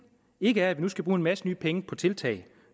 ikke er at vi nu skal bruge en masse nye penge på tiltag